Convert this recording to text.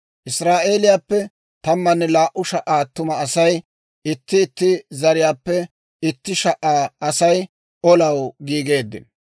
Israa'eeliyaappe tammanne laa"u sha"a attuma asay, itti itti zariyaappe itti sha"a asay, olaw giigeeddino.